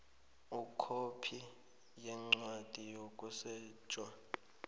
ikhophi yencwadi yokusetjha